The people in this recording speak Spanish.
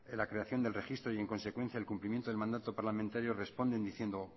la creación del registro y en consecuencia el cumplimiento del mandato parlamentario responden diciendo